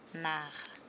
naga